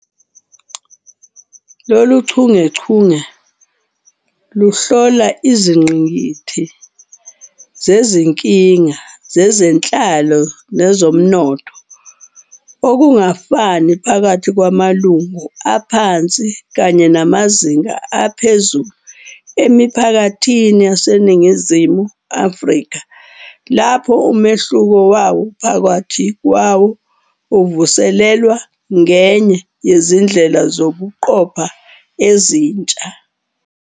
Lolu chungechunge luhlola izingqikithi zezinkinga zezenhlalo nezomnotho, ukungafani phakathi kwamalungu aphansi kanye namazinga aphezulu emiphakathini yaseNingizimu Afrika, lapho umehluko wawo phakathi kwawo uvuselelwa ngenye yezindlela zokuqopha ezintsha.